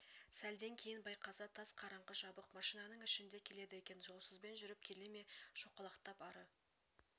сәлден кейін байқаса тас қараңғы жабық машинаның ішінде келеді екен жолсызбен жүріп келе ме шоқалақтап ары